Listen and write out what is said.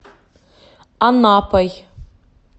анапой